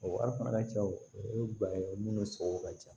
O wari cɛw o ye ba ye munnu sɔngɔ ka ca